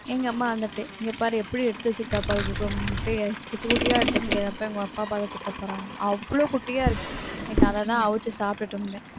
எங்க அம்மா வந்துட்டு இங்க பாரு எப்படி எடுத்து வச்சிருக்கா பாரு முட்டையை வச்சு குட்டி குட்டியா எடுத்து வச்சிருக்கா இதை போயி உங்க அப்பா பார்த்தா திட்டப்போறாங்க அவ்வளவு குட்டியா இருக்கு இன்னைக்கு அதத்தான் அவிச்சு சாப்பிட்டுட்டு இருந்தேன்